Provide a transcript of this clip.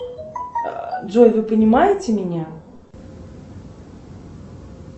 джой вы понимаете меня